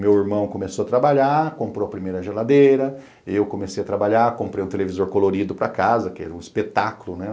Meu irmão começou a trabalhar, comprou a primeira geladeira, eu comecei a trabalhar, comprei um televisor colorido para casa, que era um espetáculo, né?